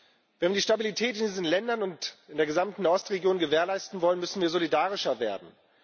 Wenn wir die Stabilität in diesen Ländern und in der gesamten Nahostregion gewährleisten wollen, müssen wir solidarischer werden.